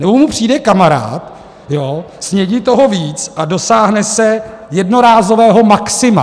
Nebo mu přijde kamarád, snědí toho víc a dosáhne se jednorázového maxima.